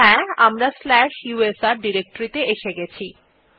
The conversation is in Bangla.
হ্যাঁ আমরা স্লাশ ইউএসআর ডিরেক্টরী ত়ে এসে গেছি